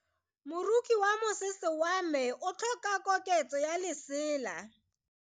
Moroki wa mosese wa me o tlhoka koketsô ya lesela.